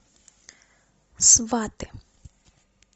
сваты